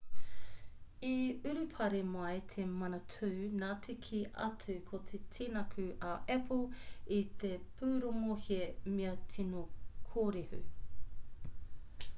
i urupare mai te manatū nā te kī atu ko te tinaku a apple i te pūrongo he mea tino kōrehu